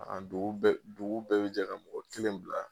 A dugu bɛɛ dugu bɛɛ be jɛ ka mɔgɔ kelen bila